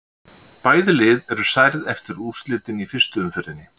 Bæði lið eru særð eftir úrslitin í fyrstu umferðinni.